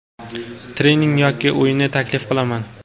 trening yoki o‘yinni taklif qilaman.